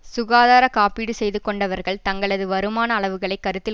சுகாதார காப்பீடு செய்து கொண்டவர்கள் தங்களது வருமான அளவுகளை கருத்தில்